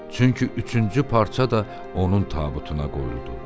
Çünki üçüncü parça da onun tabutuna qoyuldu.